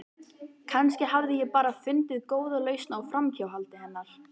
Kannski hafði ég bara fundið góða lausn á framhjáhaldi hennar.